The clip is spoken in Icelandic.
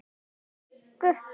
Í viku.